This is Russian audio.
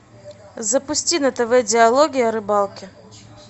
запусти на тв диалоги о рыбалке